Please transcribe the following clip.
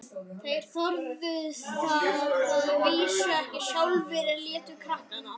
Þeir þorðu það að vísu ekki sjálfir, en létu krakkana.